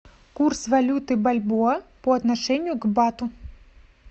курс валюты бальбоа по отношению к бату